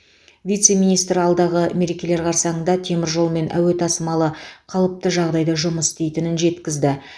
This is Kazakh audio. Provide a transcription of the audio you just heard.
вице министр алдағы мерекелер қарсаңында темір жол мен әуе тасымалы қалыпты жағдайда жұмыс істейтінін жеткізді